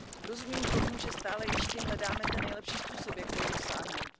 Rozumím tomu, že stále ještě hledáme ten nejlepší způsob, jak toho dosáhnout.